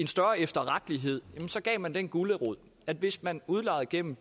større efterrettelighed gav man den gulerod at hvis man udlejede gennem